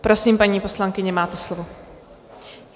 Prosím, paní poslankyně, máte slovo.